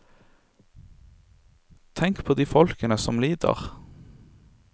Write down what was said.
Tenk på de folkene som lider.